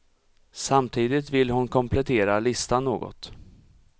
Samtidigt vill hon komplettera listan något.